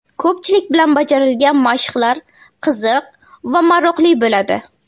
Ko‘pchilik bilan bajarilgan mashqlar qiziq va maroqli bo‘ladi.